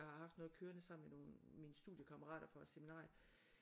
Jeg har haft noget kørende sammen med nogle mine studiekammerater fra seminariet